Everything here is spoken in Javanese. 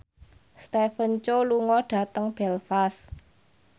Stephen Chow lunga dhateng Belfast